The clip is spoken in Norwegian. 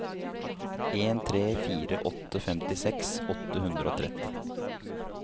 en tre fire åtte femtiseks åtte hundre og tretti